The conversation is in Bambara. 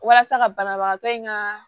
Walasa ka banabagatɔ in ka